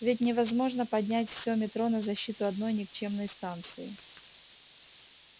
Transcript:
ведь невозможно поднять всё метро на защиту одной никчёмной станции